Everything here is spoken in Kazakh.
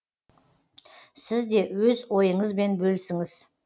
сіз де өз ойыңызбен бөлісіңіз